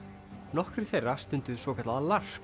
nokkrir þeirra stunduðu svokallað